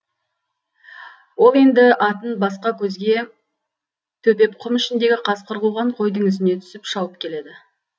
ол енді атын басқа көзге төпеп құм ішіндегі қасқыр қуған қойдың ізіне түсіп шауып келеді